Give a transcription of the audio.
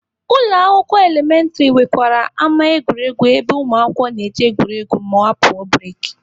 Ụlọ akwụkwọ elementịrị nwekwara ama egwuregwu ebe ụmụakwụkwọ na-eje egwuregwu ma apụọ bureki.